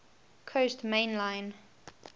coast main line